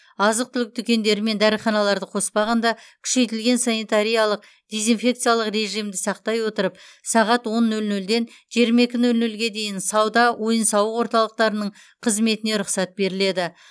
азық түлік дүкендері мен дәріханаларды қоспағанда күшейтілген санитариялық дезинфекциялық режимді сақтай отырып сағат он нөл нөлден жиырма екі нөл нөлге дейін сауда ойын сауық орталықтарының қызметіне рұқсат беріледі